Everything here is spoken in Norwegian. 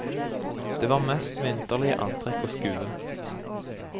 Det var mest vinterlige antrekk å skue.